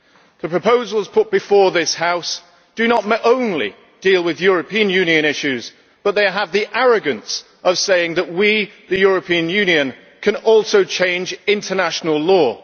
The proposals put before this House do not only deal with European Union issues, but they have the arrogance of saying that we, the European Union, can also change international law.